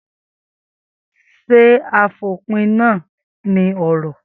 Sé àfòpíná ní oró?